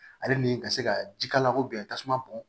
Ale ni ka se ka jikalako bɛn tasuma bɔn